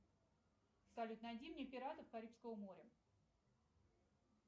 салют найди мне пиратов карибского моря